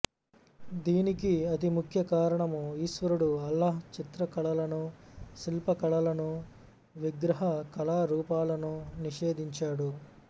దీనికి అతిముఖ్య కారణం ఈశ్వరుడు అల్లాహ్ చిత్రకళలను శిల్పకళలనూ విగ్రహకళారూపాలనూ నిషేధించాడు